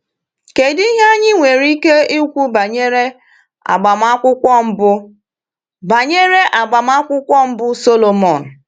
Kedu ihe anyị nwere ike ikwu banyere agbamakwụkwọ mbụ banyere agbamakwụkwọ mbụ Sọlọmọn?